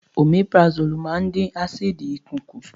Omeprazole máa ń dín ásíìdì ikùn kù